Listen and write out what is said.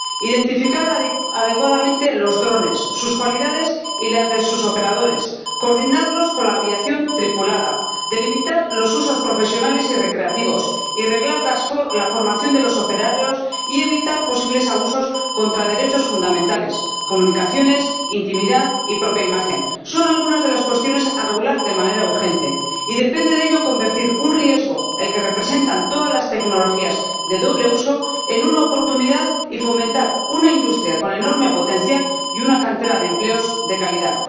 Identificar adecuadamente los drones, sus cualidades y las de sus operadores, coordinarlos con la aviación tripulada, delimitar los usos profesionales y recreativos y reglar la formación de los operarios, y evitar posibles abusos contra derechos fundamentales —comunicaciones, intimidad y propia imagen— son algunas de las cuestiones que regular de manera urgente, y depende de ello convertir un riesgo —el que representan todas las tecnologías de doble uso— en una oportunidad y fomentar una industria con enorme potencial y una cantera de empleos de calidad.